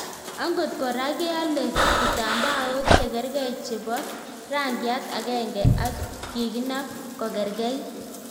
Angot koraa kealee kitambaok chekergei chepoo rangiat agenge ak kikinap kokeregeit